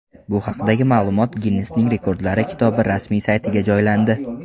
Bu haqdagi ma’lumot Ginnesning Rekordlar kitobi rasmiy saytiga joylandi.